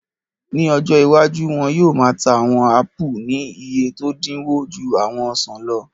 Ní ọjọ́ iwájú, wọn yóò máa ta àwọn áàpù ní iye tó dínwó ju àwọn ọsàn lọ